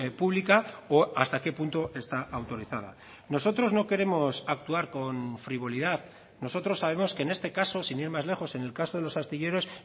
pública o hasta qué punto está autorizada nosotros no queremos actuar con frivolidad nosotros sabemos que en este caso sin ir más lejos en el caso de los astilleros